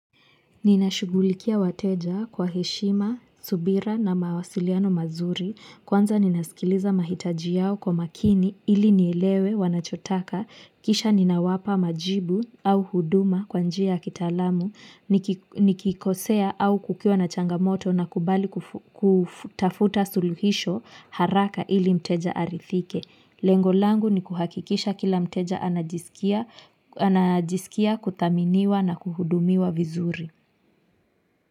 Ninashugulikia wateja kwa heshima, subira na mawasiliano mazuri, kwanza ninasikiliza mahitaji yao kwa makini ili nielewe wanachotaka, kisha ninawapa majibu au huduma kwa njia kitaalamu, nikikosea au kukiwa na changamoto na kubali kutafuta suluhisho haraka ili mteja arithike. Lengo langu ni kuhakikisha kila mteja anajisikia kuthaminiwa na kuhudumiwa vizuri.